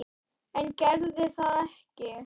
En gerði það ekki.